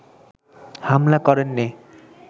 হামলা করেননি